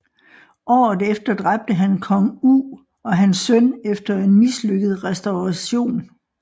Året efter dræbte han kong U og hans søn efter en mislykket resturation